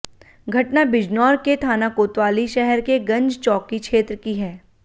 घटना बिजनौर के थाना कोतवाली शहर के गंज चौकी क्षेत्र की है